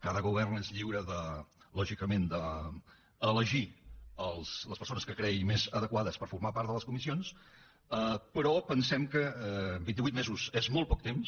cada govern és lliure lògicament d’elegir les persones que cregui més adequades per formar part de les comissions però pensem que vint i vuit mesos és molt poc temps